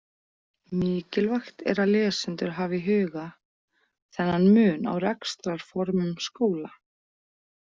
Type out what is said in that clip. Mikilvægt er að lesendur hafi í huga þennan mun á rekstrarformum skóla.